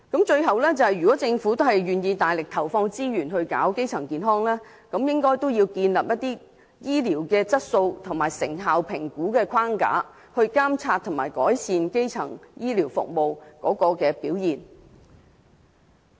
最後，如果政府願意大力投放資源做好基層醫療，便應該建立醫療質素和成效評估框架，以監察和改善基層醫療服務的表現。